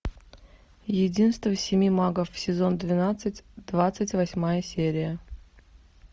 единство семи магов сезон двенадцать двадцать восьмая серия